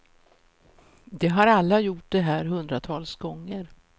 De har alla gjort det här hundratals gånger.